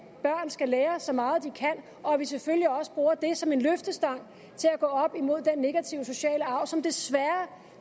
børn skal lære så meget de kan og at vi selvfølgelig også bruger det som en løftestang til at gå op imod den negative sociale arv som desværre